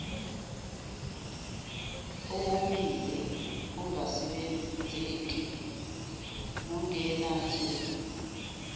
owomile ongasebenzeki nongenanzuzo